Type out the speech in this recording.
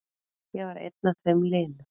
Ég var einn af þeim linu.